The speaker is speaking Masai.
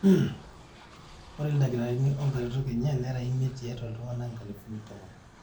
ore ildakitarini onkaretok enye nera imiet tiatwa iltung'anak inkalifuni tomon